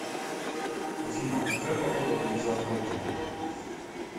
афина а какая погода будет завтра утром